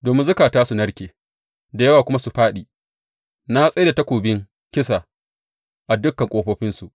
Domin zukata su narke da yawa kuma su fāɗi, na tsai da takobin kisa a dukan ƙofofinsu.